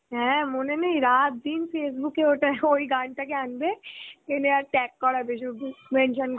হ্যাঁ মনে নেই রাত দিন Facebook ওটা ওই গানটাকে আনবে এনে আর tag করবে সুধু mention